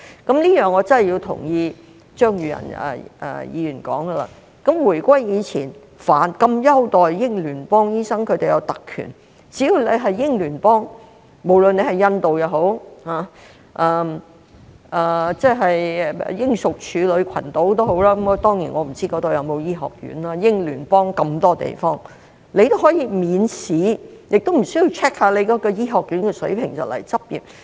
就此，我必須同意張宇人議員所說，在回歸前，那麼優待英聯邦醫生，讓他們享有特權，只要來自英聯邦，無論是印度或英屬處女群島——當然，我不知那裏有否醫學院，英聯邦有那麼多地方——便可以免試，也無須 check 醫學院的水平，便可前來執業。